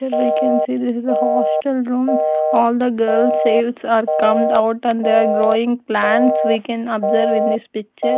Here we can see this is a hostel room all the girls are come out and they are growing plants we can observe in this picture.